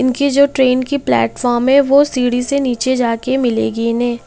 इनकी जो ट्रेन की प्लेटफॉर्म है वो सीढ़ी से नीचे जाके मिलेगी इन्हें।